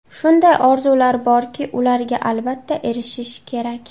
Shunday orzular borki, ularga albatta erishish kerak.